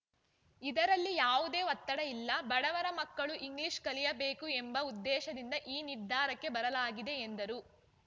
ಇದರಲ್ಲಿ ಯಾವುದೇ ಒತ್ತಡ ಇಲ್ಲ ಬಡವರ ಮಕ್ಕಳು ಇಂಗ್ಲೀಷ್ ಕಲಿಯಬೇಕು ಎಂಬ ಉದ್ದೇಶದಿಂದ ಈ ನಿರ್ಧಾರಕ್ಕೆ ಬರಲಾಗಿದೆ ಎಂದರು